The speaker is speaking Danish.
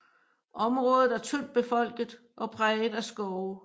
Området er tyndt befolket og præget af skove